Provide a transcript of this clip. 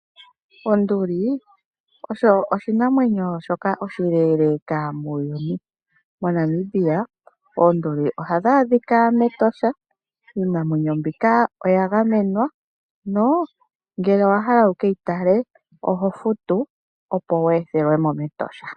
Onduli oosho oshinamwemyo shoka oshileeleka muuyuni. MoNamibia oonduli ohadhi adhika mEtosha. Iinamwenyo mbika oya gamenwa, no ngele owa hala wu ke yi tale, oho futu, opo wu ethelwe mo mEtosha.